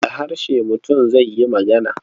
Da harshe mutum zai yi magana.